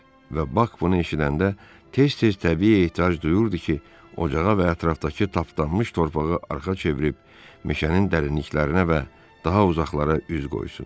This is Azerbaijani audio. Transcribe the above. Və Bak bunu eşidəndə tez-tez təbii ehtiyac duyurdu ki, ocağa və ətrafdakı tapdanmış torpağa arxa çevirib meşənin dərinliklərinə və daha uzaqlara üz qoysun.